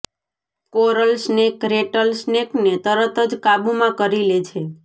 coral snake rattle સ્નેકને તરત જ કાબૂમાં કરી લે છે